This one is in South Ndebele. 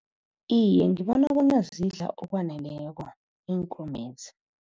Iye, ngibona bona zidla ngokwaneleko iinkomo lezi.